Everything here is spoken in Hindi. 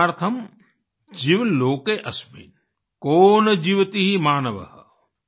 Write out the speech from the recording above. आत्मार्थम् जीव लोके अस्मिन् को न जीवति मानवः